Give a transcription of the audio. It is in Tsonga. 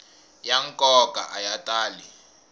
ya nkoka a ya tali